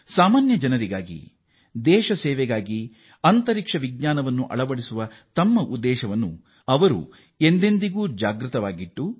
ಸಾಮಾನ್ಯ ಜನರಿಗಾಗಿ ದೇಶ ಸೇವೆಗಾಗಿ ಅಂತರಿಕ್ಷ ವಿಜ್ಞಾನವನ್ನು ಅಳವಡಿಸುವ ವಿಚಾರದಲ್ಲಿ ಅವರು ಸದಾ ಜಾಗೃತರಾಗಿದ್ದಾರೆ